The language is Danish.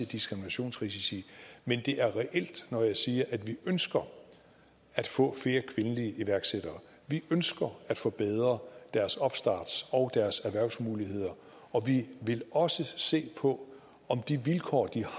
diskriminationsrisici men det er reelt når jeg siger at vi ønsker at få flere kvindelige iværksættere vi ønsker at forbedre deres opstarts og deres erhvervsmuligheder og vi vil også se på om de vilkår de har